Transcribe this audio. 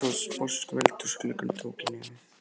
Afi stóð sposkur við eldhúsgluggann og tók í nefið.